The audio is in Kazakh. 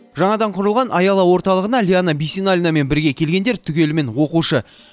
жаңадан құрылған аяла орталығына лиана бисеналинамен бірге келгендер түгелімен оқушы